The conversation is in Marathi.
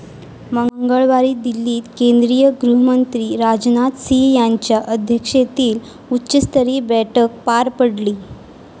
मंगळवारी दिल्लीत केंद्रीय गृहमंत्री राजनाथ सिंह यांच्या अध्यक्षतेखाली उच्चस्तरीय बैठक पार पडली.